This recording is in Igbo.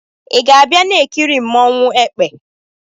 Ị ga-abịa na-ekiri nmanwu "ekpe"?